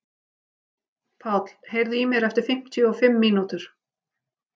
Páll, heyrðu í mér eftir fimmtíu og fimm mínútur.